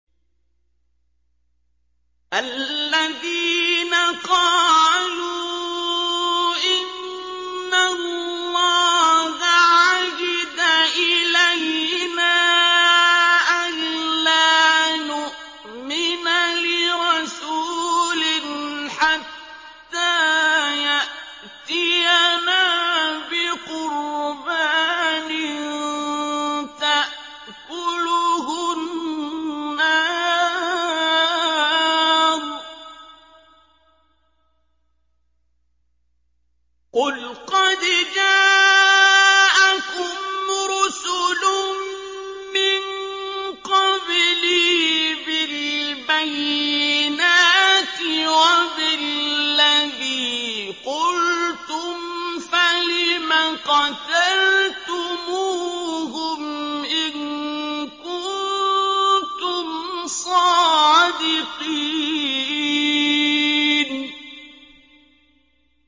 الَّذِينَ قَالُوا إِنَّ اللَّهَ عَهِدَ إِلَيْنَا أَلَّا نُؤْمِنَ لِرَسُولٍ حَتَّىٰ يَأْتِيَنَا بِقُرْبَانٍ تَأْكُلُهُ النَّارُ ۗ قُلْ قَدْ جَاءَكُمْ رُسُلٌ مِّن قَبْلِي بِالْبَيِّنَاتِ وَبِالَّذِي قُلْتُمْ فَلِمَ قَتَلْتُمُوهُمْ إِن كُنتُمْ صَادِقِينَ